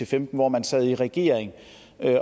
femten hvor man sad i regering